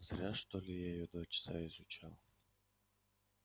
зря что ли я её два часа изучал